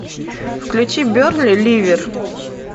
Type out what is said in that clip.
включи бернли ливер